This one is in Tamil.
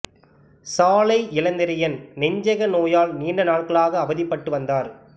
சாலை இளந்திரையன் நெஞ்சக நோயால் நீண்ட நாள்களாக அவதிப்பட்டு வந்தார்